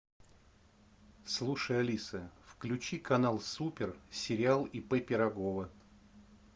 слушай алиса включи канал супер сериал ип пирогова